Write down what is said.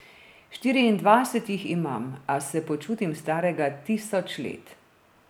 Štiriindvajset jih imam, a se počutim starega tisoč let.